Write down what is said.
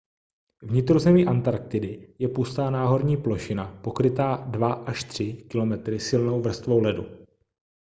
vnitrozemí antarktidy je pustá náhorní plošina pokrytá 2-3 km silnou vrstvou ledu